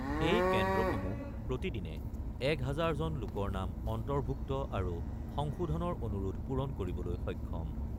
এই কেন্দ্ৰসমূহ প্ৰতিদিনে ১ হাজাৰজন লোকৰ নাম অন্তৰ্ভূক্ত আৰু সংশোধনৰ অনুৰোধ পুৰণ কৰিবলৈ সক্ষম ।